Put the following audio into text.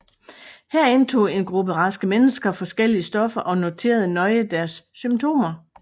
Her indtog en gruppe raske mennesker forskellige stoffer og noterede nøje deres symptomer